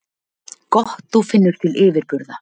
Gott þú finnur til yfirburða.